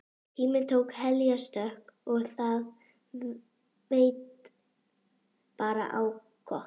Tíminn tók heljarstökk og það veit bara á gott.